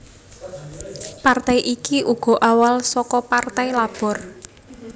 Partai iki uga awal saka Partai Labor